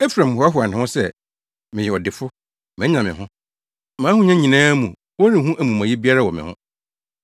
Efraim hoahoa ne ho sɛ, “Meyɛ ɔdefo; manya me ho. Mʼahonya nyinaa mu wɔrenhu amumɔyɛ biara wɔ me ho.”